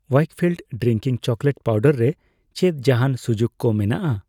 Weikfield drinking chocolate powder ᱨᱮ ᱪᱮᱫ ᱡᱟᱦᱟᱸᱱ ᱥᱩᱡᱩᱠ ᱠᱚ ᱢᱮᱱᱟᱜᱼᱟ ?